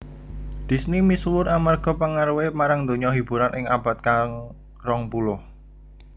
Disney misuwur amarga pengaruhé marang donya hiburan ing abad ka rong puluh